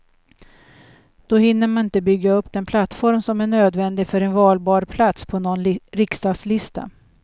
Då hinner man inte bygga upp den plattform som är nödvändig för en valbar plats på någon riksdagslista.